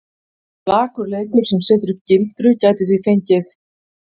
Slakur leikur sem setur upp gildru gæti því fengið?!